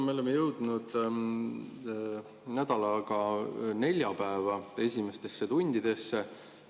Me oleme jõudnud nädalaga neljapäeva esimestesse tundidesse.